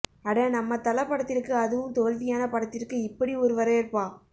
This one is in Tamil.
அட நம்ம தல படத்திற்கு அதுவும் தோல்வியான படத்திற்கு இப்படி ஒரு வரவேற்பா